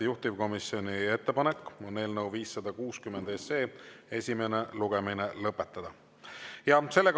Juhtivkomisjoni ettepanek on eelnõu 560 esimene lugemine lõpetada.